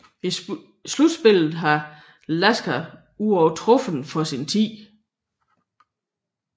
I slutspillet var Lasker uovertruffen for sin tid